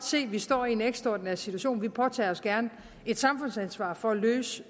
se at vi står i en ekstraordinær situation at påtager sig et samfundsansvar for at løse